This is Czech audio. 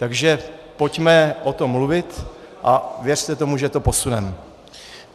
Takže pojďme o tom mluvit a věřte tomu, že to posuneme.